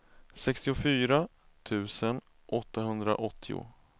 sextiofyra tusen åttahundraåttio